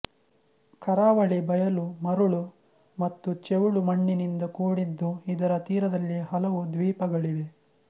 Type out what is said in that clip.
ಕರಾವಳಿ ಬಯಲು ಮರಳು ಮತ್ತು ಚೆವುಳು ಮಣ್ಣಿನಿಂದ ಕೂಡಿದ್ದು ಇದರ ತೀರದಲ್ಲಿ ಹಲವು ದ್ವೀಪಗಳಿವೆ